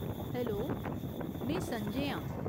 Hello, में संजय आं ।